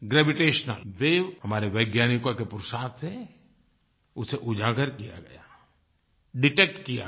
gravitational waves हमारे वैज्ञानिको के पुरुषार्थ से उसे उजागर किया गया डिटेक्ट किया गया